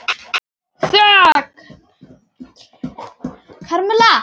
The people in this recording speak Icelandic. PÁLL: Þögn!